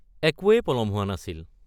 একোৱেই পলম হোৱা নাছিল।